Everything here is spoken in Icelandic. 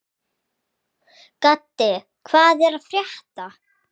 Gaddi, hvað er að frétta?